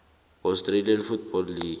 australian football league